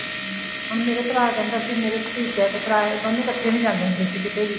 ਹਮ ਹੁਣ ਮੇਰਾ ਭਰਾ ਕਹਿੰਦਾ ਸੀ ਮੇਰਾ ਭਤੀਜਾ ਤੇ ਭਰਾ ਦੋਨੇ ਕੱਠੇ ਨੀ ਜਾਂਦੇ ਹੁੰਦੇ ਸੀ ਕਿਤੇ ਵੀ